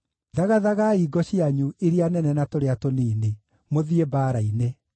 “Thagathagai ngo cianyu, iria nene na tũrĩa tũnini, mũthiĩ mbaara-inĩ!